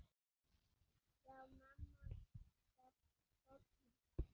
Já, Mammon krefst fórna.